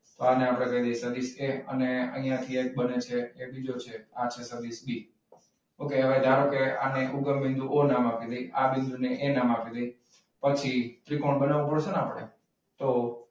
તો આને આપણે કહી દઈએ સદીશ એ અને અહીંયા થી એક બને છે બીજો છે સદીશ બી. okay હવે આપણે ધારો કે ઉગમ બિંદુ ઓ નામ આપી દઈએ. આ બિંદુ ને એ નામ આપી દઈએ. પછી, ત્રિકોણ બનાવવો પડશે ને આપણે? તો,